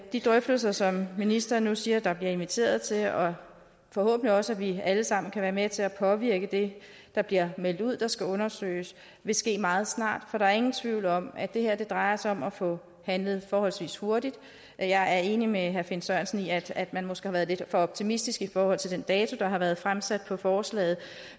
de drøftelser som ministeren nu siger der bliver inviteret til og forhåbentlig også at vi alle sammen kan være med til at påvirke det der bliver meldt ud der skal undersøges vil ske meget snart for der er ingen tvivl om at det her drejer sig om at få handlet forholdsvis hurtigt jeg er enig med herre finn sørensen i at at man måske har været lidt for optimistisk i forhold til den dato der har været fremsat på forslaget